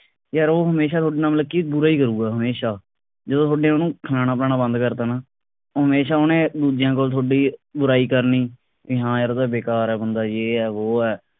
ਯਾਰ ਉਹ ਹਮੇਸ਼ਾ ਤੁਹਾਡੇ ਨਾਲ ਮਤਲਬ ਕਿ ਬੁਰਾ ਹੀ ਕਰੂੰਗਾ ਹਮੇਸ਼ਾ ਜਦੋਂ ਤੁਹਾਡੇ ਉਹਨੂੰ ਖਾਣਾ ਪਿਆਣਾ ਬੰਦ ਕਰਤਾ ਨਾ ਹਮੇਸ਼ਾ ਉਹਨੇ ਦੂਜਿਆਂ ਕੋਲ ਥੋਡੀ ਬੁਰਾਈ ਕਰਨੀ ਬਈ ਹਾ ਯਾਰ ਉਹ ਤਾਂ ਬੇਕਾਰ ਬੰਦਾ ਯੇਹ ਐ ਵੋ ਐ